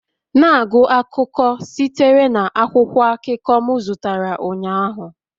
Na-agụ akụkọ sitere na akwụkwọ akụkọ m zụtara ụnyaahụ